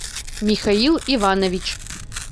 михаил иванович